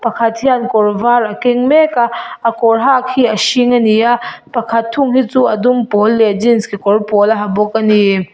pakhat hian kawr var a keng mek a a kawr hak hi a hring a ni a pakhat thung hi chu a dum pawl leh jeans kekawr pawl a ha bawk a ni.